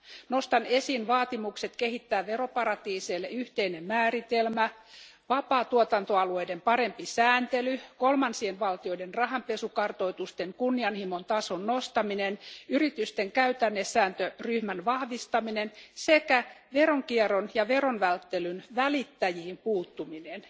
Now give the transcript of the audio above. Nostan esiin vaatimukset kehittää veroparatiiseille yhteinen määritelmä, vapaatuotantoalueiden parempi sääntely, kolmansien valtioiden rahanpesukartoitusten kunnianhimon tason nostaminen, yritysten käytännesääntöryhmän vahvistaminen sekä veronkierron ja veron välttelyn välittäjiin puuttuminen.